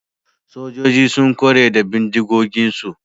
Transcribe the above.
Sojoji sun kware da bindigoginsu